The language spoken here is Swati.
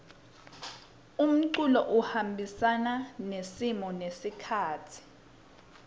umculo uhambisana nesimo nesikhatsi